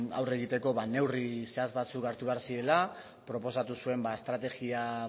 aurre egiteko neurri zehatz batzuk hartu behar zirela proposatu zuen estrategia